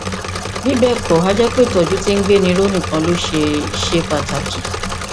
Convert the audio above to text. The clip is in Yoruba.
bí bẹẹ kọ a jẹ pé ìtọjú tí ń gbéni ró nìkan ló ṣe ṣe pàtàkì